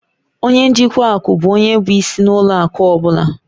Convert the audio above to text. Ọnye njikwa akụ bụ ónyé bụ ịsị na ụlọ akụ ọbula